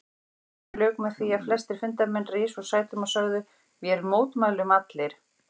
Fundinum lauk með því að flestir fundarmenn risu úr sætum og sögðu: Vér mótmælum allir